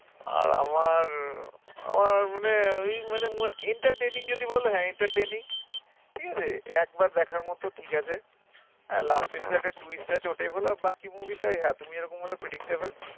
আর আমার আহ আমার মানে ওই মানে entertaining যদি বল হ্যাঁ entertaining ঠিক আছে একবার দেখার মতো ঠিক আছে আর last এ শুদু একটা twist আছে ওটাই ভালো আর বাকি movie টাই ওই হ্যাঁ, তুমি যে রকম বললে predictable